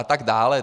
A tak dále.